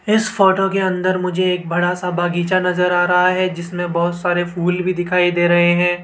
इस फोटो के अंदर मुझे एक बड़ा सा बगीचा नज़र आ रहा है जिसमें बहोत सारे फूल भी दिखाई दे रहे हैं।